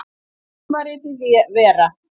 Tímaritið Vera.